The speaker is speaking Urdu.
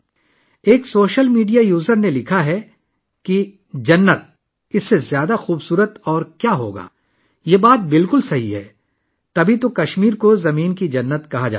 ایک سوشل میڈیا صارف نے لکھا 'اس جنت سے زیادہ خوبصورت اور کیا ہوگا؟' یہ بالکل درست ہے اسی لیے کشمیر کو زمین پر جنت کہا جاتا ہے